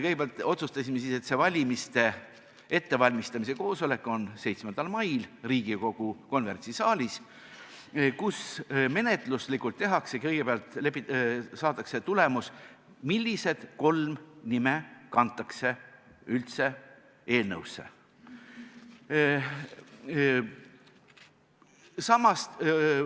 Kõigepealt me ju otsustasime, et valimiste ettevalmistamise koosolek on 7. mail Riigikogu konverentsisaalis, kus menetluslikult tehakse kõigepealt otsus, saadakse tulemus, millised kolm nime üldse eelnõusse kantakse.